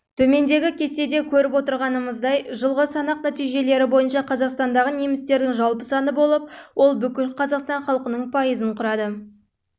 төмендегі кестеде көріп отырғанымыздай жылғы санақ нәтижелері бойынша қазақстандағы немістердің жалпы саны болып ол бүкіл қазақстан халқының пайызын